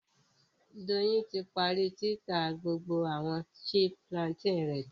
Doyin ti parí títà gbogbo àwọn chip plantain rẹ